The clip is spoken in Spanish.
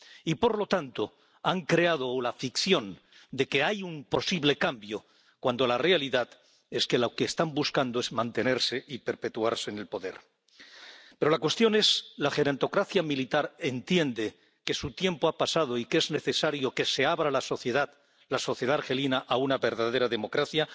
Y, por lo tanto, han creado la ficción de que hay un posible cambio cuando la realidad es que lo que están buscando es mantenerse y perpetuarse en el poder. Pero la cuestión es ¿la gerontocracia militar entiende que su tiempo ha pasado y que es necesario que se abra la sociedad argelina a una verdadera democracia?